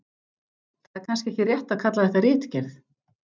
Það er kannski ekki rétt að kalla þetta ritgerð.